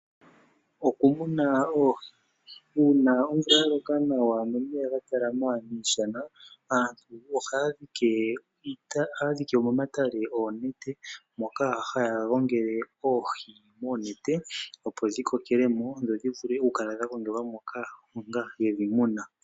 Uuna omvula ya loka nawa nomeya ga talama miishana, aantu ohaya dhike momatale oonete moka haya gongele oohi moonete opo dhi kokele mo, dho dhi vule oku kala dha gongelwa moka onga yedhi muna.